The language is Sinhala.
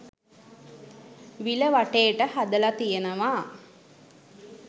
විල වටේට හදල තියනවා.